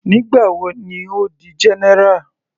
Nígbà wo ni Ó di general.